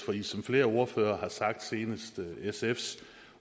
som flere ordførere har sagt senest sfs